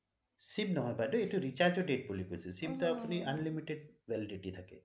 Sim নহয় বাইদেউ এইটো recharge ৰ date বুলি কৈছোঁ sim টো আপুনি unlimited validity থাকে